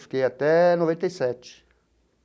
Fiquei até noventa e sete.